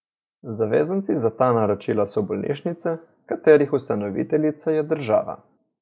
Zavezanci za ta naročila so bolnišnice, katerih ustanoviteljica je država.